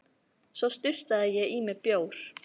Svo sturtaði ég í mig bjór.